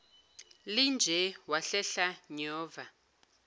linje wahlehla nyova